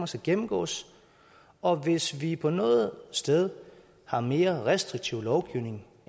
skal gennemgås og hvis vi på noget sted har en mere restriktiv lovgivning